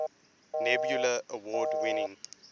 nebula award winning